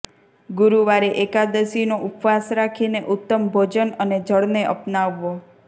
ગુરુવારે એકાદશીનો ઉપવાસ રાખીને ઉત્તમ ભોજન અને જળને અપનાવવો